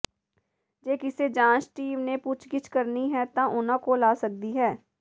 ਜੇ ਕਿਸੇ ਜਾਂਚ ਟੀਮ ਨੇ ਪੁੱਛਗਿੱਛ ਕਰਨੀ ਹੈ ਤਾਂ ਉਨ੍ਹਾਂ ਕੋਲ ਆ ਸਕਦੀ ਹੈ